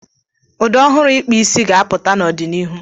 Ụdị ọhụrụ ikpa isi ga-apụta n'ọdịnihu.